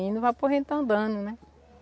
E não vai por que a gente está andando, né?